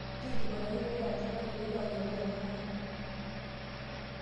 Nkilikuana olkitarri ajo:kanu aiturua ayiolou ajo kaata?